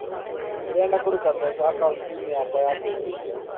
Nĩ ndĩrenda kũruta mbeca akaũnti-inĩ yakwa ya kũigithia.